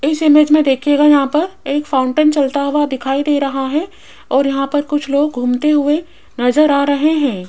इस इमेज में देखिएगा यहां पर एक फाउंटेन चलता हुआ दिखाई दे रहा है और यहां पर कुछ लोग घूमते हुए नजर आ रहे हैं।